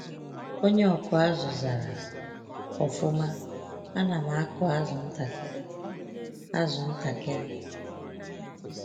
Onye ọkụ azụ zara: “Ọfụma, ana m akụ azụ ntakịrị. azụ ntakịrị.